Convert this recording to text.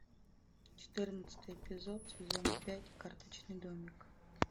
четырнадцатый эпизод сезона пять карточный домик